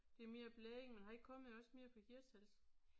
Det er mere blandet men han kommer jo også mere fra Hirtshals